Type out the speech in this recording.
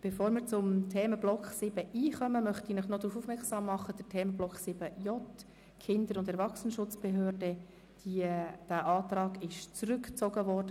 Bevor wir zum Themenblock 7.i übergehen, möchte ich Sie darauf aufmerksam machen, dass der Antrag der SP-JUSOPSA zum Themenblock 7.j Kinder- und Erwachsenenschutzbehörde zurückgezogen wurde.